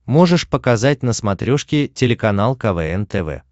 можешь показать на смотрешке телеканал квн тв